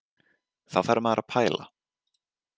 Þá fer maður að pæla.